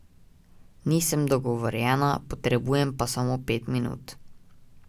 Nisem dogovorjena, potrebujem pa samo pet minut.